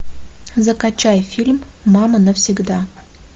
закачай фильм мама навсегда